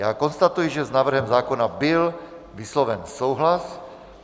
Já konstatuji, že s návrhem zákona byl vysloven souhlas.